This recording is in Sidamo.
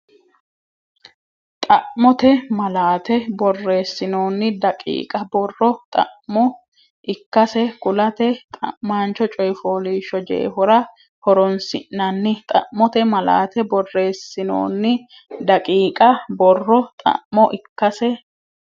Xa mote malaate Borreessinoonni daqiiqa borro xa mo ikkase kulate xa maancho coy fooliishsho jeefora horoonsi nanni Xa mote malaate Borreessinoonni daqiiqa borro xa mo ikkase.